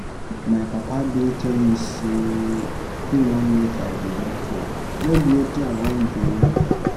My papa bin tell me sey him want make I be doctor, no be wetin I want o.